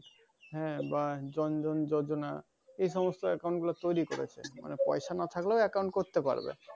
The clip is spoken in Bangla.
হ্যাঁ বা জন জন জজনা এসমস্ত account গুলা তৈরী করেছে। পয়সা না থাকেলেও account করতে পারবে।